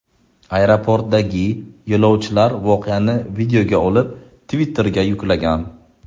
Aeroportdagi yo‘lovchilar voqeani videoga olib, Twitter’ga yuklagan.